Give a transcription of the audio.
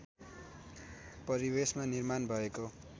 परिवेशमा निर्माण भएको